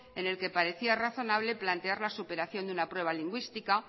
en el que parecía razonable plantear la superación de una prueba lingüística